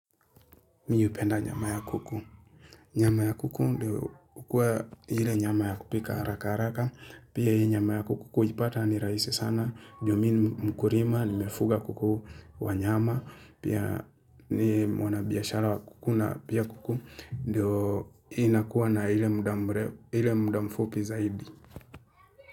Mimi hupenda nyama ya kuku. Nyama ya kuku ndio kukua ile nyama ya kupika haraka haraka. Pia hii nyama ya kuku ipata ni raisi sana. Ndio mimi mkulima, nimefuga kuku wanyama. Pia ni wanabiashara wa kukuna pia kuku ndio inakuwa na ile muda mfupi zaidi.